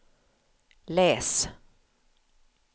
läs